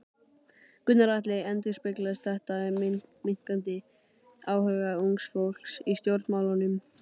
Gunnar Atli: Endurspeglar þetta minnkandi áhuga ungs fólks á stjórnmálum?